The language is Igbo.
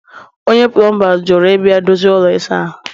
onye plọmba jụrụ ịbịa dozie ụlọ ịsa ahụ